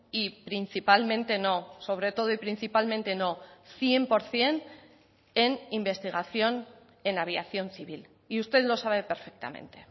y principalmente no sobre todo y principalmente no cien por ciento en investigación en aviación civil y usted lo sabe perfectamente